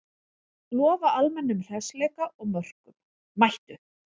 Lofa almennum hressleika og mörkum, mættu!